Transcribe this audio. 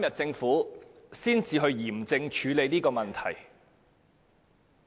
政府到今天才嚴正處理這個問題。